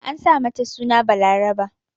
An sa mata suna Balaraba.